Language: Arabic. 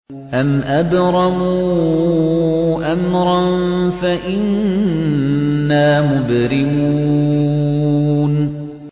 أَمْ أَبْرَمُوا أَمْرًا فَإِنَّا مُبْرِمُونَ